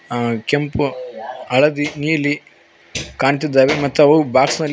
ಆ ಕೆಂಪು ಹಳದಿ ನೀಲಿ ಕಾಣ್ತಿದ್ದಾವೆ ಮತ್ ಅವು ಬಾಕ್ಸ್ ನಲ್ಲಿ--